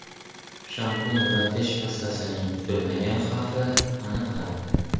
Shampun va tish pastasining kutilmagan xavfi aniqlandi.